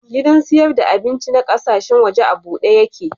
Gidan siyar da abinci na kasashen waje a bude yake.